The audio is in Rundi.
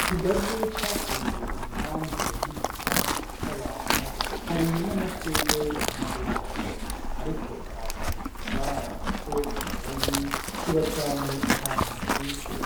Ikigazi cakuriye impande y'igipangu c'abantu hari n'amashugwe impande yaco, ariko nta kintu bigitwara, kuko ikigazi kiba cane ahantu hashushe